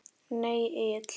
Nei Egill.